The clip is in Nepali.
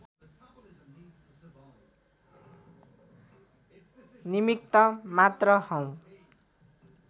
निमित्त मात्र हौँ